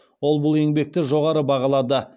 ол бұл еңбекті жоғары бағалады